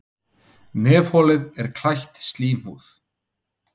Nefholið er klætt slímhúð.